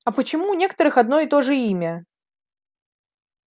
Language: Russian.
а почему у некоторых одно и то же имя